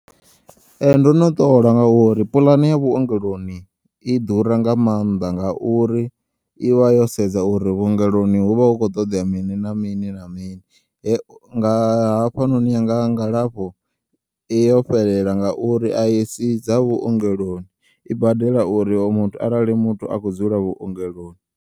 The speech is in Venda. Ee, ndono ṱola ngauri puḽani ya vhuongeloni i ḓura nga maanḓa nga uri ivha yosedza uri vhuongeloni huvha hu kho ṱoḓea mini na mini na mini nga hafha noni yanga nga lafho yovfhelela ngauri ayi sii dza vhuongeloni i badela uri oyo muthu arali muthu akho dzula vhuongeloni.